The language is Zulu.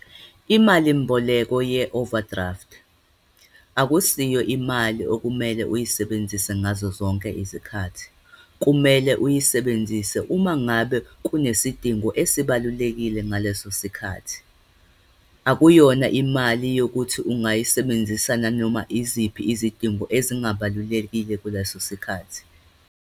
Imalimboleko ye-overdraft, akusiyo imali okumele uyisebenzise ngazozonke isikhathi. Kumele uyisebenzise uma ngabe kunesidingo esibalulekile ngaleso sikhathi. Akuyona imali yokuthi ungayisebenzisa nanoma iziphi izidingo ezingabalulekile kuleso sikhathi.